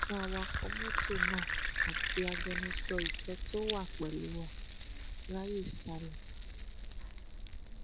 ṣùgbọn awakọ mọtò náà àti agbẹnusọ ìjọ tó wà pẹlú wa ráàyè sá lọ